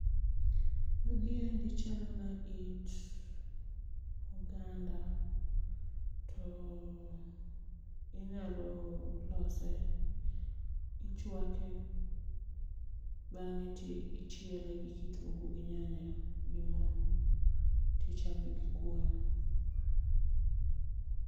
Magi endi chalo na it oganda, to inyalo lose, ichwake, bang'e to ichiele gi kitungu gi nyanya gi moo to ichame gi kuon